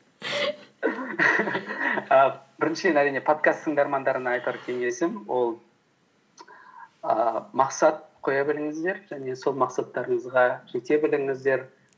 і біріншіден әрине подкаст тыңдармандарына айтар кеңесім ол ііі мақсат қоя біліңіздер және сол мақсаттарыңызға жете біліңіздер